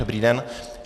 Dobrý den.